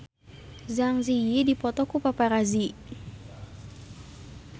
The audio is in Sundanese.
Zang Zi Yi dipoto ku paparazi